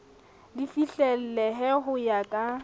le fihlellehe ho ya ka